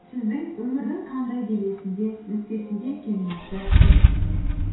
сіздің өмірдің қандай белесінде нүктесінде екеніңізді білмеймін